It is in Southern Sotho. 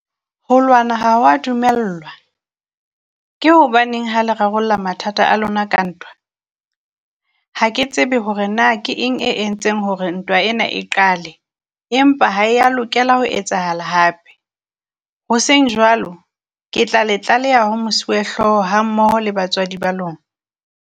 Ho lwana ha wa dumellwa, ke hobaneng ha le rarolla mathata a lona ka ntwa? Ha ke tsebe hore na ke eng e entseng hore ntwa ena e qale, empa ha e ya lokela ho etsahala hape. Ho seng jwalo ke tla le tlaleha ho Mosuwehlooho hammoho le batswadi ba lona.